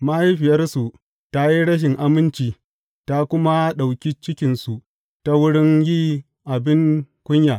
Mahaifiyarsu ta yi rashin aminci ta kuma ɗauki cikinsu ta wurin yi abin kunya.